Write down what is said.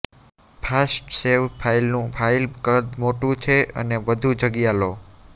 fast save ફાઇલનું file કદ મોટું છે અને વધુ જગ્યા લો